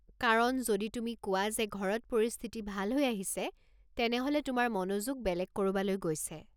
কাৰণ, যদি তুমি কোৱা যে ঘৰত পৰিস্থিতি ভাল হৈ আহিছে, তেনেহলে তোমাৰ মনোযোগ বেলেগ ক'ৰবালৈ গৈছে।